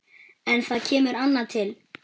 En það kemur annað til.